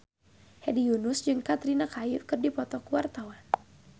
Hedi Yunus jeung Katrina Kaif keur dipoto ku wartawan